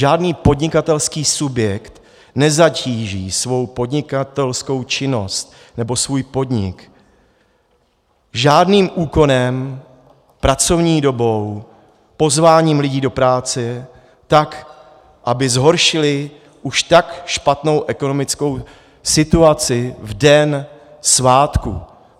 Žádný podnikatelský subjekt nezatíží svůj podnikatelskou činnost nebo svůj podnik žádným úkonem, pracovní dobou, pozváním lidí do práce tak, aby zhoršili už tak špatnou ekonomickou situaci v den svátku.